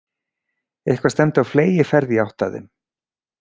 Eitthvað stefndi á fleygiferð í átt að þeim.